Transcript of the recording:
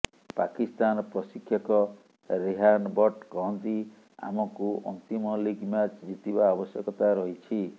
ପାକିସ୍ତାନ ପ୍ରଶିକ୍ଷକ ରେହାନ୍ ବଟ୍ଟ୍ କହନ୍ତି ଆମକୁ ଅନ୍ତିମ ଲିଗ୍ ମ୍ୟାଚ୍ ଜିତିବା ଆବଶ୍ୟକତା ରହିଛି